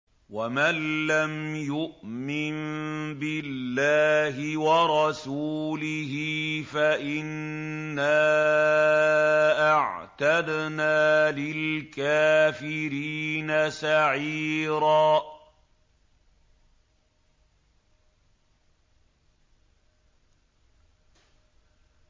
وَمَن لَّمْ يُؤْمِن بِاللَّهِ وَرَسُولِهِ فَإِنَّا أَعْتَدْنَا لِلْكَافِرِينَ سَعِيرًا